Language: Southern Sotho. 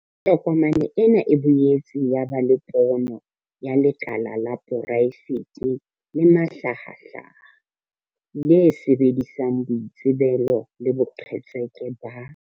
Tokomane ena e boetse ya ba le pono ya 'lekala la poraefete le mahlahahlaha, le sebedisang boitsebelo le boqhetseke ba.